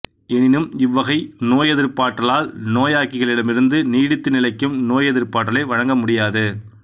எனினும் இவ்வகை நோயெதிர்பாற்றலால் நோயாக்கிகளிடமிருந்து நீடித்து நிலைக்கும் நோயெதிர்ப்பாற்றலை வழங்க முடியாது